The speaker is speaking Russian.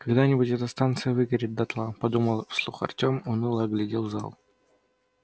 когда-нибудь эта станция выгорит дотла подумал вслух артем уныло оглядел зал